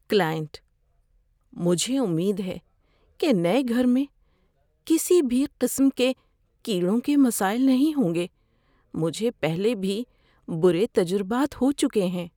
Client: "مجھے امید ہے کہ نئے گھر میں کسی بھی قسم کے کیڑوں کے مسائل نہیں ہوں گے؛ مجھے پہلے بھی برے تجربات ہو چکے ہیں۔"